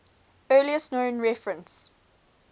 earliest known reference